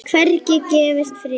Hvergi gefst friður.